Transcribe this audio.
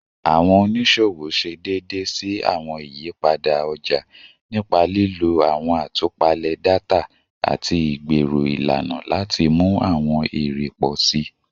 Awọn oniṣowo ṣe deede si awọn iyipada ọja nipa lilo awọn atupale data ati igbero ilana lati mu awọn ere pọ si.